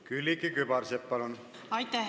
Külliki Kübarsepp, palun!